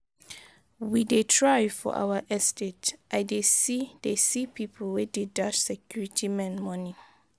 We dey try for our estate. I dey see dey see people wey dey dash security men money.